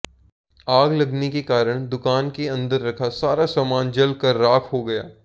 आग लगने के कारण दुकान के अंदर रखा सारा सामान जल कर राख हो गया